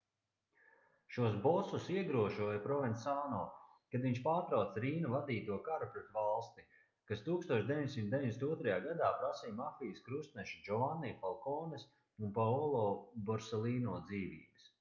šos bosus iegrožoja provensāno kad viņš pārtrauca rīna vadīto karu pret valsti kas 1992. gadā prasīja mafijas krustnešu džovanni falkones un paolo borselīno dzīvības